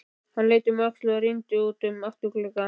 Hann leit um öxl og rýndi út um afturgluggann.